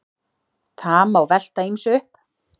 Það má velta ýmsu upp.